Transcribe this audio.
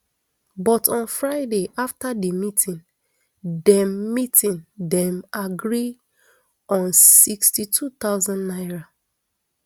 but on friday afta di meeting dem meeting dem agree on sixty-two thousand naira